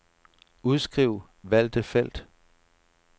Udskriv valgte felt.